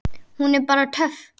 Hún er bara töff.